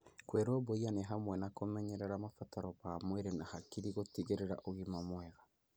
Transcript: Kwĩrũmbũiya nĩ hamwe na kũmenyerera mabataro ma mwĩrĩ na hakiri gũtigĩrĩra ũgima mwega